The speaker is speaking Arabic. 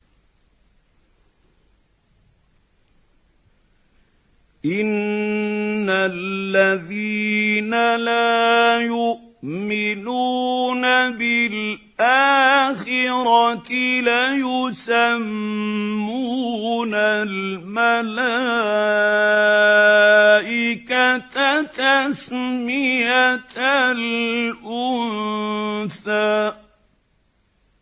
إِنَّ الَّذِينَ لَا يُؤْمِنُونَ بِالْآخِرَةِ لَيُسَمُّونَ الْمَلَائِكَةَ تَسْمِيَةَ الْأُنثَىٰ